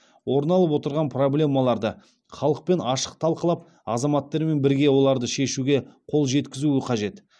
орын алып отырған проблемаларды халықпен ашық талқылап азаматтармен бірге оларды шешуге қол жеткізуі қажет